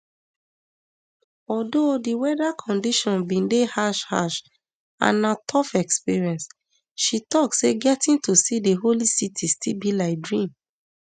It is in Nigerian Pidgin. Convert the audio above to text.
although di weather conditions bin dey harsh harsh and na tough experience she tok say getting to see di holy site still be like dream